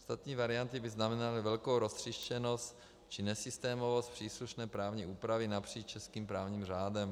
Ostatní varianty by znamenaly velkou roztříštěnost či nesystémovost příslušné právní úpravy napříč českým právním řádem.